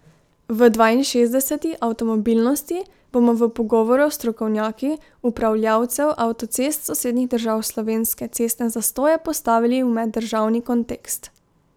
V dvainšestdeseti Avtomobilnosti bomo v pogovoru s strokovnjaki upravljavcev avtocest sosednjih držav slovenske cestne zastoje postavili v meddržavni kontekst.